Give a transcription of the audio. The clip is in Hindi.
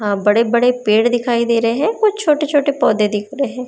हा बड़े बड़े पेड़ दिखाई दे रहे हैं कुछ छोटे छोटे पौधे दिख रहे।